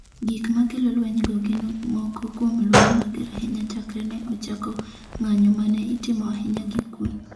Gik ma kelo lwenygo gin moko kuom lweny mager ahinya chakre ne ochako ng’anjo ma ne itimo ahinya gi kuwe.